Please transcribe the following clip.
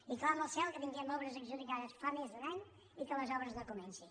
i clama al cel que tinguem obres adjudicades fa més d’un any i que les obres no comencin